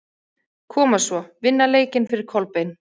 Koma svo, vinna leikinn fyrir Kolbein!